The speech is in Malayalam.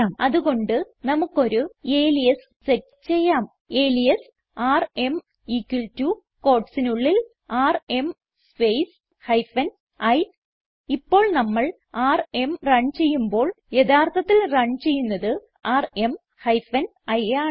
അത് കൊണ്ട് നമുക്കൊരു അലിയാസ് സെറ്റ് ചെയ്യാം അലിയാസ് ആർഎം equal ടോ quotesനുള്ളിൽ ആർഎം സ്പേസ് ഹൈഫൻ i ഇപ്പോൾ നമ്മൾ ആർഎം റൺ ചെയ്യുമ്പോൾ യഥാർത്ഥത്തിൽ റൺ ചെയ്യുന്നത് ആർഎം ഹൈഫൻ i ആണ്